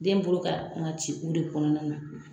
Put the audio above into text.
Den bolo ka kan ci o de kɔnɔna na.